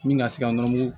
Min ka se ka nɔrɔ